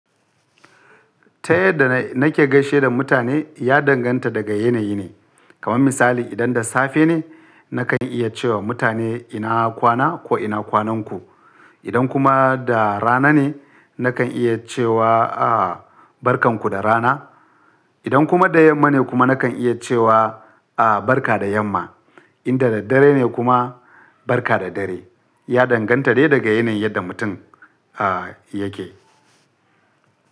Ta yadda na nake gaishe da mutane ya danganta daga yanayi ne. Kama misali idan da safe ne, nakan iya cewa mutane ina kwana ko ina kwanan ku. Idan kuma da rana ne, nakan iya cewa a barkan ku da rana. Idan kuma da yamma ne kuma nakan iya cewa a barka da yamma. Idan da daddare ne kuma barka da dare. Ya danganta dai daga yanayin yadda mutum a yake.